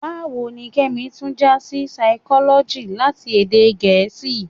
Báwo ni Kẹ́mi tún já sí Saikọ́lọ́jì láti èdè Gẹ̀ẹ́sì?